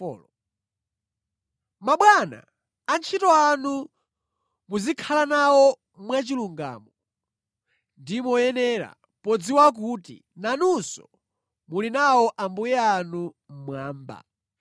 Mabwana, antchito anu muzikhala nawo mwachilungamo ndi moyenera, podziwa kuti nanunso muli nawo Ambuye anu mmwamba.